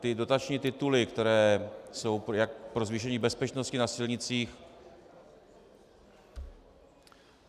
Ty dotační tituly, které jsou jak pro zvýšení bezpečnosti na silnicích...